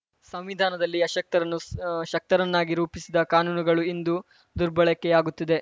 ಸಂವಿಧಾನದಲ್ಲಿ ಅಶಕ್ತರನ್ನು ಆ ಶಕ್ತರನ್ನಾಗಿ ರೂಪಿಸಿದ ಕಾನೂನುಗಳು ಇಂದು ದುರ್ಬಳಕೆಯಾಗುತ್ತಿದೆ